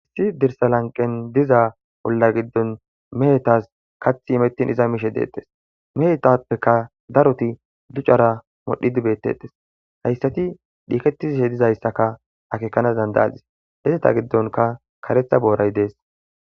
Issi dirsa lanqen diza olla giddon mehetas kath imettin iza miishe deettes mehetappeka daroti ducara modhi dibetettes hayssati dhiiketiishe dizayssaka akeekanas dandayazis heseta giddonka karetha booray dees.